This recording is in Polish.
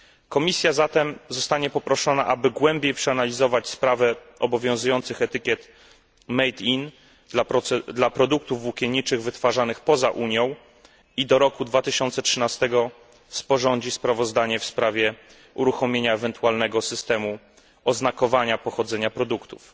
Komisja zatem zostanie poproszona, aby głębiej przeanalizować sprawę obowiązujących etykiet made in dla produktów włókienniczych wytwarzanych poza Unią i do roku 2013 sporządzi sprawozdanie w sprawie uruchomienia ewentualnego systemu oznakowania pochodzenia produktów.